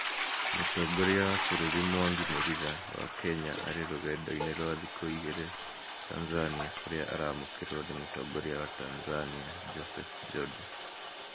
mũtongoria wa bũrũri Mwangi Murira wa Kenya arĩ rũgendo-inĩ rwa thikũ igĩrĩ Tanzania kũrĩa araamũkĩrwo nĩ Mũtongoria wa Tanzania Joseph jode.